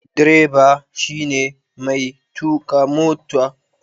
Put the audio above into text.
Direba shi ne mai tuƙa mota